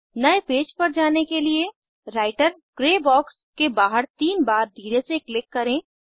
नए पेज पर जाने के लिए राइटर ग्रे बॉक्स के बाहर तीन बार धीरे से क्लिक करें